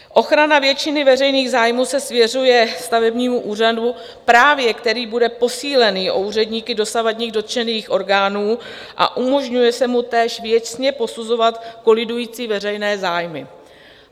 Ochrana většiny veřejných zájmů se svěřuje stavebnímu úřadu, právě který bude posílený o úředníky dosavadních dotčených orgánů, a umožňuje se mu též věcně posuzovat kolidující veřejné zájmy.